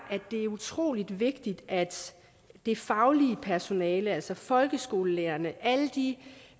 utrolig vigtigt at det faglige personale altså folkeskolelærerne alle de